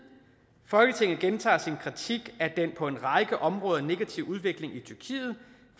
folketinget gentager sin kritik af den på en række områder negative udvikling i tyrkiet